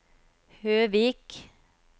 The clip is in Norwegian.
Høvik